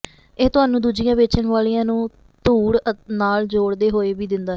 ਇਹ ਤੁਹਾਨੂੰ ਦੂਜੀਆਂ ਵੇਚਣ ਵਾਲਿਆਂ ਨੂੰ ਧੂੜ ਨਾਲ ਜੋੜਦੇ ਹੋਏ ਵੀ ਦਿੰਦਾ ਹੈ